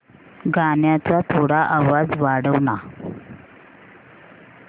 गाण्याचा थोडा आवाज वाढव ना